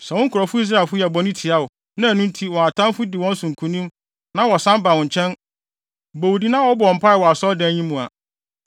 “Sɛ wo nkurɔfo Israelfo yɛ bɔne tia wo, na ɛno nti wɔn atamfo di wɔn so nkonim na wɔsan ba wo nkyɛn, bɔ wo din na wɔbɔ wo mpae wɔ Asɔredan yi mu a,